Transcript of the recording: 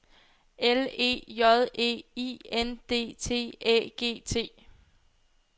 L E J E I N D T Æ G T